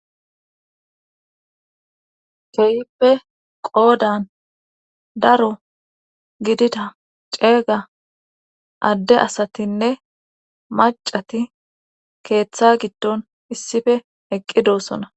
keeyippe qoodan daro gidida ceega adde asatinne macati keeththa gidton issife eqqidossona